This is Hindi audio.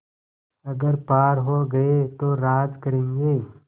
अगर पार हो गये तो राज करेंगे